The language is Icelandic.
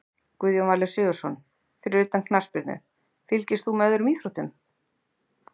Guðjón Valur Sigurðsson Fyrir utan knattspyrnu, fylgist þú með öðrum íþróttum?